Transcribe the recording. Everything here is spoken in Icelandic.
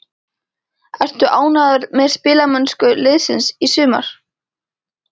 Ertu ánægður með spilamennsku liðsins í sumar?